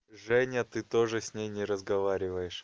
женя ты тоже с ней не разговариваешь